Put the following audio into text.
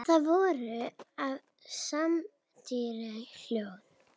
Þau voru afar samrýnd hjón.